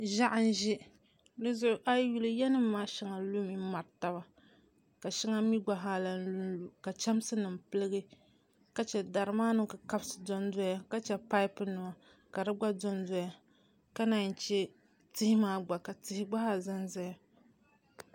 Ʒiɛɣu n ʒɛ dizuɣu a yi yuli yiya nim maa puuni shɛŋa lumi mari taba ka shɛŋa mii gba zaa lahi lunlu ka chɛmsi nim piligi ka chɛ dari maa ni kukabisi dondoya ka chɛ paip nima ka di gba dondoya ka chɛ tihi maa gba ka di mii ʒɛya